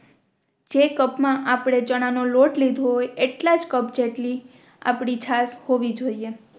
જે કપ માં આપણે ચણા નો લોટ લીધો હોય એટલાજ કપ જેટલી આપણી છાસ હોવી જોયે